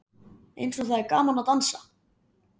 Eins og það er gaman að dansa!